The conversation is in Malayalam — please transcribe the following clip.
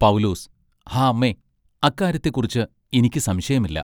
പൗലോസ്. ഹാ അമ്മേ അക്കാര്യത്തെ കുറിച്ച് ഇനിക്ക് സംശയമില്ല.